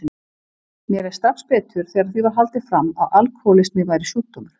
Mér leið strax betur þegar því var haldið fram að alkohólismi væri sjúkdómur.